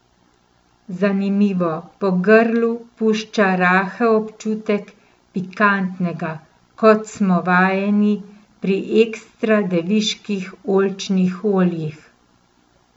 Zanimivo, po grlu pušča rahel občutek pikantnega, kot smo vajeni pri ekstra deviških oljčnih oljih.